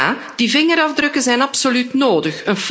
En ja, die vingerafdrukken zijn absoluut nodig.